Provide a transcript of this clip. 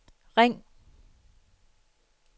ring